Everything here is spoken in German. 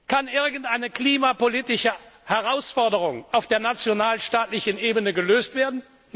Kann irgendeine klimapolitische Herausforderung auf der nationalstaatlichen Ebene gelöst werden?